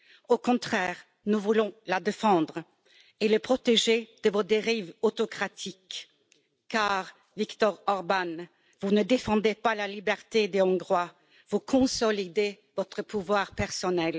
au contraire, nous voulons la défendre et la protéger de vos dérives autocratiques, car, Viktor Orbán, vous ne défendez pas la liberté des Hongrois, vous consolidez votre pouvoir personnel.